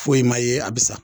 Foyi ma ye a bi sa